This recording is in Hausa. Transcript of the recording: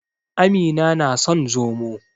Amina na son Zomo.